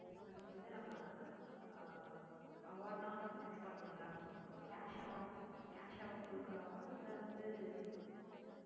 அதுக்கு வந்து நம்ம அஹ் award லாம் நம்ம fix பண்ணனும்ல cash award கொடுக்கலாமா இல்ல வந்து